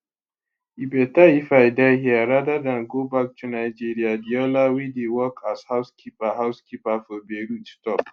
e beta if i die here rather dan go back to nigeriaadeola wey dey work as housekeeper housekeeper for beirut tok